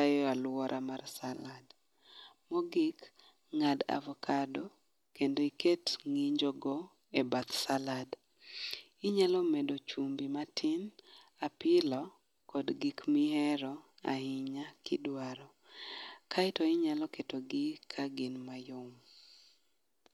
e alwora mar salad. Mogik, ng'ad avakado kendo iket ng'injogo e bath salad. Inyalo medo chumbi matin, apilo kod gik mihero ahinya kidwaro. Kaeto inyalo ketogi ka gin mayom.